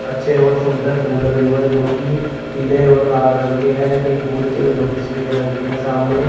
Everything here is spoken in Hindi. अच्छे और सुंदर फूल लगे हुए जोकि पीले और लाल रंग के हैं कई फूल जोकि सफेद रंग के हैं सामने--